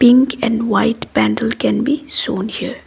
pink and white pendle can be shown here.